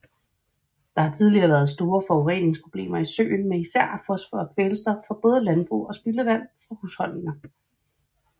Der har tidligere været store forureningsproblemer i søen med især fosfor og kvælstof fra både landbrug og spildevand fra husholdninger